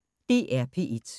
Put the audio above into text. DR P1